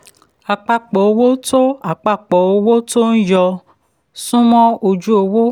àpapọ̀ owó tó àpapọ̀ owó tó yọ ń súnmọ ojú owó.